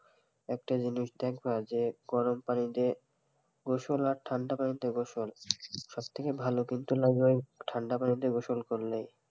একটা জিনিস দেখাবা যে গরম পানি দিয়ে গোসল আর ঠান্ডা পানি দিয়ে গোসল সব থেকে ভালো লাগবে কিন্তু লাগবে ঠান্ডা পানি দিয়ে গোসল করলেই,